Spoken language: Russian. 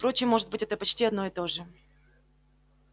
впрочем может быть это почти одно и то же